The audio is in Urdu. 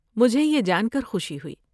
مجھے یہ جان کر خوشی ہوئی۔